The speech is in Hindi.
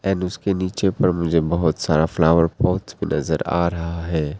उसके नीचे पर मुझे बहुत सारा फ्लावर पॉट नज़र आ रहा है।